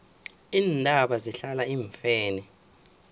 iintaba zihlala iimfene